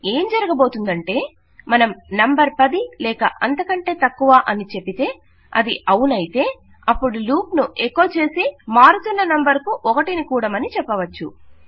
ఏం జరగబోతుందంటే మనం నంబర్ 10 లేక అంతకంటే తక్కువ అని చెబితే అది అవునయితే అపుడు లూప్ ను ఎకొ చేసి మారుతున్న నంబర్ కు 1 ని కూడమని చెప్పవచ్చు